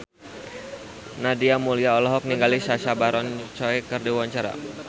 Nadia Mulya olohok ningali Sacha Baron Cohen keur diwawancara